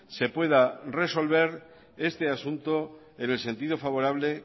se pueda resolver este asunto en el sentido favorable